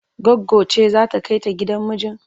Goggo ce za ta kai ta gidan mijin?